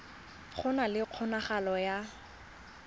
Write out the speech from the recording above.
go na le kgonagalo ya